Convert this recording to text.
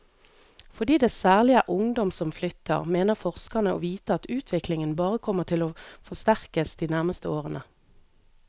Fordi det særlig er ungdom som flytter, mener forskerne å vite at utviklingen bare kommer til å forsterkes de nærmeste årene.